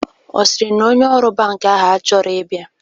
Ọ sịrị na onye ọrụ bankị ahụ achọghị ịbịa?